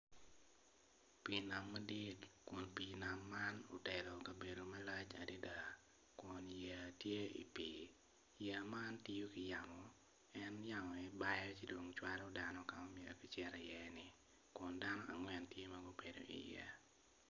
Pi nam madit, kun pi nam man otero kabedo malac adada kun yeya tye i pi yeya man tiyo ki yamo pien yamo en aye bao ci dong cwalo dano kama myero gucito i ye ni kun dano angwen en tye magubeo i ye.